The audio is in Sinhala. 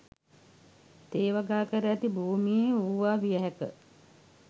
තේ වගා කර ඇති භූමියේ වූවා විය හැක